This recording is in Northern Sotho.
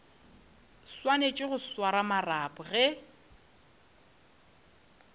swanetše go swara marapo ge